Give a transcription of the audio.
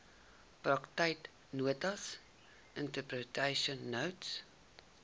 praktyknotas interpretation notes